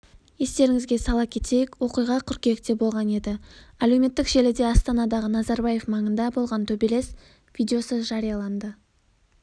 естеріңізге сала кетейік оқиға қыркүйекте болған еді әлеуметтік желіде астанадағы назарбаев маңында болған төбелес видеосы жарияланды